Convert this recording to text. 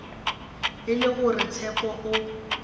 e le gore tshepo o